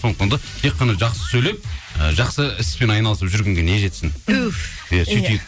сондықтан да тек қана жақсы сөйлеп ы жақсы іспен айналысып жүргенге не жетсін туф иә сөйтейік